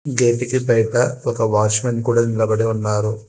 గేటికి బైట ఒక వాచ్మాన్ కూడ నిలబడి ఉన్నాడు.